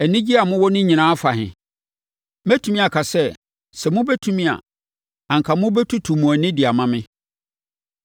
Anigyeɛ a mowɔ no nyinaa afa he? Mɛtumi aka sɛ, sɛ mobɛtumi a, anka mobɛtutu mo ani de ama me.